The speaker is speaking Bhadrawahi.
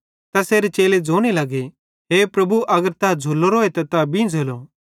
तैसेरे चेले ज़ोने लगे हे प्रभु अगर तै झ़़ुलोरोए त तै बीझ़ेलो